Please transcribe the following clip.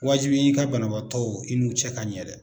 Waajibi i ka banabaatɔw i n'u cɛ ka ɲɛ dɛ.